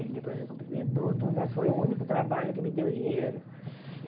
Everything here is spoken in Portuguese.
Ele depois me cumprimentou tudo, mas foi o único trabalho que me deu dinheiro.